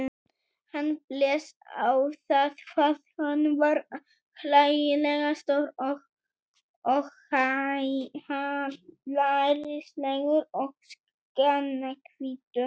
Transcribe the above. Hann blés á það hvað hann var hlægilega stór og hallærislegur og skjannahvítur.